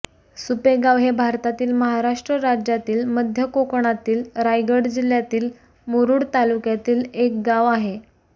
सुपेगाव हे भारतातील महाराष्ट्र राज्यातील मध्य कोकणातील रायगड जिल्ह्यातील मुरूड तालुक्यातील एक गाव आहे